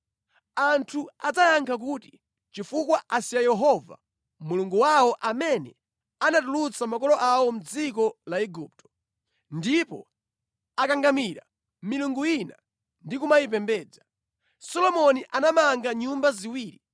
Anthu adzayankha kuti, ‘Nʼchifukwa chakuti asiya Yehova Mulungu wawo amene anatulutsa makolo awo mʼdziko la Igupto, ndipo akangamira milungu ina ndi kumayipembedza ndi kuyitumikira. Choncho Iye wabweretsa zovuta zonsezi.’ ”